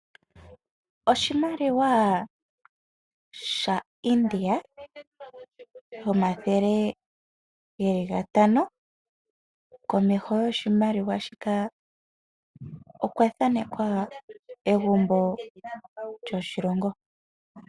Oshimaliwa sha India shomathele geli gatano komesho goshimaliwa shika okwa thanekwa egumbo lyoshilongo.